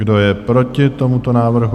Kdo je proti tomuto návrhu?